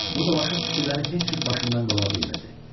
Bu dolaşıq fikirləri heç cür başından qova bilmirdi.